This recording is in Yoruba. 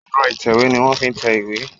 Ẹ̀rọ ìtẹ̀wé ni wọ́n ń fi tẹ ìwé.